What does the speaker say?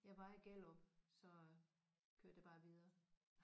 Jeg var i Gellerup så kørte jeg bare videre